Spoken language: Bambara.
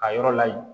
A yɔrɔ layi